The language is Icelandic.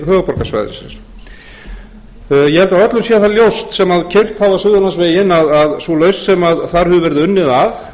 höfuðborgarsvæðisins ég held að öllum sé það ljóst sem keyrt hafa suðurlandsveginn að sú lausn